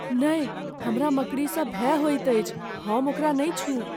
नहि! हमरा मकड़ीसँ भय होइत अछि। हम ओकरा नहि छूइब।